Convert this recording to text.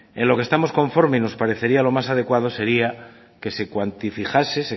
en lo que estamos conforme y nos parecería lo más adecuado sería que se cuantifijase